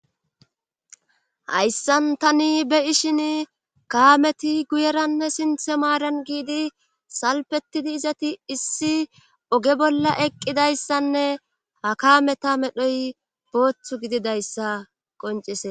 hayssan tani be ishin kaameti guyeranne sinthe maaran giidi salpetidi izati issi oge bolla eqqidayssanne ha kameta medhoy booththu gididayssa qoncises